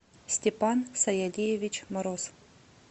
степан сайалиевич мороз